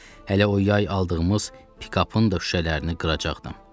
Hələ o yay aldığımız pikapın da şüşələrini qıracaqdım.